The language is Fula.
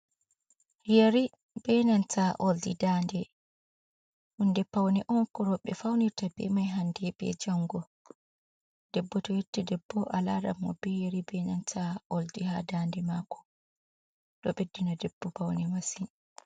Yeri, ɓe nanta oldi daande hunde paune on ko rewɓe faunirta bemai hande be jango, debbo to yotti debbo alaranmo beyeri, benanta oldi ha dademako, ɗo beddina debbo paune masin.